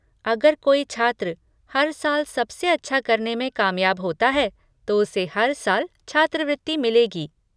अगर कोई छात्र हर साल सबसे अच्छा करने में कामयाब होता है तो उसे हर साल छात्रवृति मिलेगी।